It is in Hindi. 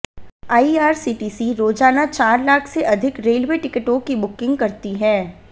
आईआरसीटीसी रोजाना चार लाख से अधिक रेलवे टिकटों की बुकिंग करती है